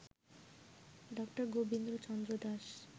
ডা. গোবিন্দ চন্দ্র দাস